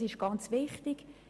Das ist sehr wichtig!